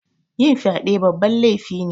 Yin fyaɗe babban lefi ne